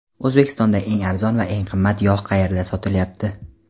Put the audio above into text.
O‘zbekistonda eng arzon va eng qimmat yog‘ qayerda sotilyapti?.